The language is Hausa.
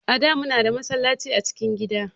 A da mu na da masallaci a cikin gida